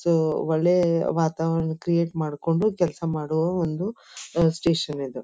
So ಒಳ್ಳೆಯ ವಾತಾವರಣ create ಮಾಡ್ಕೊಂಡು ಕೆಲಸ ಮಾಡೋ ಸ್ಟೇಷನ್ ಇದು.